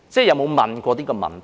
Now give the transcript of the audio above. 有否問過這個問題呢？